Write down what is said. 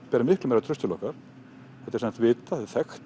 ber miklu meira traust til okkar þetta er vitað og þekkt